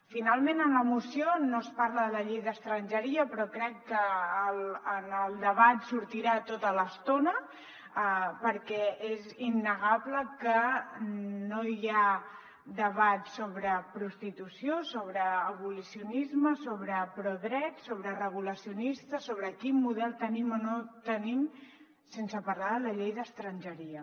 finalment en la moció no es parla de la llei d’estrangeria però crec que en el debat sortirà tota l’estona perquè és innegable que no hi ha debat sobre prostitució sobre abolicionisme sobre prodrets sobre regulacionistes sobre quin model tenim o no tenim sense parlar de la llei d’estrangeria